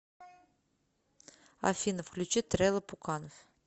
афина включи трэлла пуканов